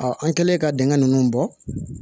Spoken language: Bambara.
an kɛlen ka dingɛ nunnu bɔ